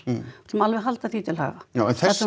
sem alveg halda því til haga já en þessi